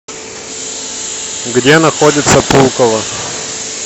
где находится пулково